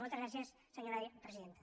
moltes gràcies senyora presidenta